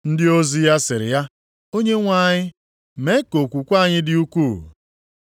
Ndị ozi ya sịrị ya, “Onyenwe anyị, mee ka okwukwe anyị dị ukwuu!”